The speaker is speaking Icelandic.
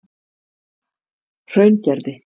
Hraungerði